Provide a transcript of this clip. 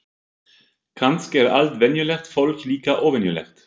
Kannski er allt venjulegt fólk líka óvenjulegt.